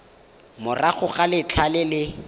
morago ga letlha le le